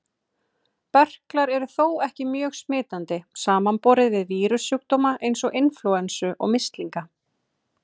Berklar eru þó ekki mjög smitandi, samanborið við vírussjúkdóma eins og inflúensu og mislinga.